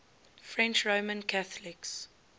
french roman catholics